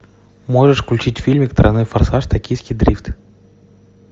можешь включить фильмик тройной форсаж токийский дрифт